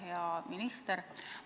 Hea minister!